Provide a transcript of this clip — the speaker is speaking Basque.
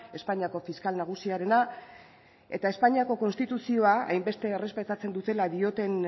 espainiako fiskal nagusiarena eta espainiako konstituzioa hainbeste errespetatzen dutela dioten